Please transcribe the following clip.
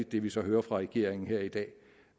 det vi så hører fra regeringen her i dag